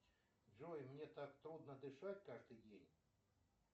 джой мне так трудно дышать каждый день